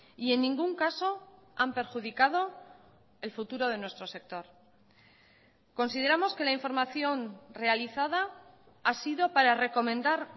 y en ningún caso han perjudicado el futuro de nuestro sector consideramos que la información realizada ha sido para recomendar